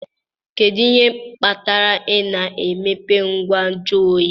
Kedu ihe kpatara ị na-emepe ngwa nju oyi